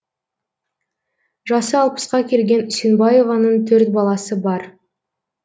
жасы алпысқа келген үсенбаеваның төрт баласы бар